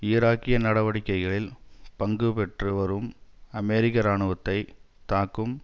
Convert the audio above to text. ஈராக்கிய நடவடிக்கைகளில் பங்குபெற்று வரும் அமெரிக்க இராணுவத்தை தாக்கும்